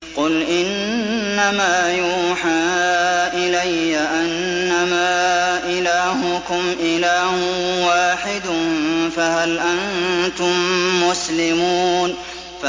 قُلْ إِنَّمَا يُوحَىٰ إِلَيَّ أَنَّمَا إِلَٰهُكُمْ إِلَٰهٌ وَاحِدٌ ۖ فَهَلْ أَنتُم مُّسْلِمُونَ